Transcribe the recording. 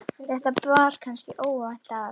þetta bar kannski óvænt að.